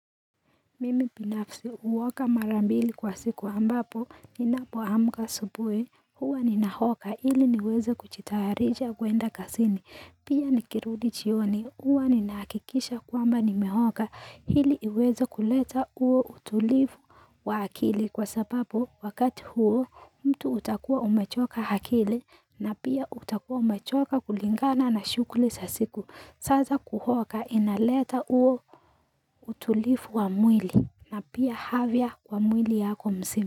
Mimi binafsi huoga mara mbili kwa siku ambapo ninapoamka asubuhi huwa ninaoga ili niweze kujitayarisha kwenda kazini pia nikirudi jioni huwa ninahakikisha kwamba nimeoga ili iweze kuleta huo utulivu wa akili kwa sababu wakati huo mtu utakuwa umechoka akili na pia utakuwa umechoka kulingana na shughuli za siku saa za kuoga inaleta uo utulivu wa mwili na pia afya kwa mwili yako mzima.